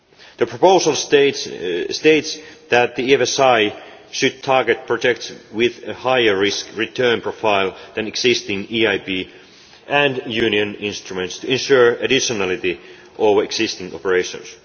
The proposal states that the EFSI should target projects with a higher risk return profile than existing EIB and Union instruments in order to ensure additionality with existing operations.